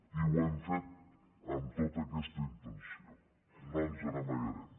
i ho hem fet amb tota aquesta intenció no ens n’amagarem